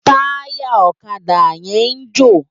Tàyá òkadá yèn n jó